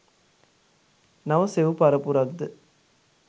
නව සෙව් පරපුරක් ද